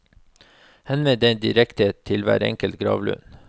Henvend deg direkte til hver enkelt gravlund.